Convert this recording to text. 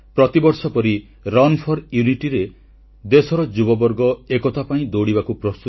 • କୋଣାର୍କ ସୂର୍ଯ୍ୟମନ୍ଦିର ପୁରୀ ଶ୍ରୀଜଗନ୍ନାଥ ମନ୍ଦିର ଚିଲିକା ଏବଂ ଓଡିଶାର ବିଶ୍ୱପ୍ରସିଦ୍ଧ ଦର୍ଶନୀୟ ସ୍ଥଳ ବୁଲିବାକୁ ପ୍ରଧାନମନ୍ତ୍ରୀଙ୍କ ପରାମର୍ଶ